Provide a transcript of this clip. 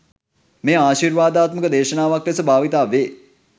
මෙය ආශිර්වාදාත්මක දේශනාවක් ලෙස භාවිත වේ.